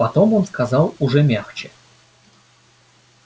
потом он сказал уже мягче